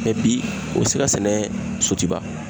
bi o be se ka sɛnɛ Sotiba.